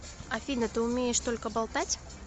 афина ты умеешь только болтать